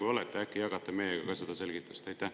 Kui olete, äkki jagate meiega ka seda selgitust?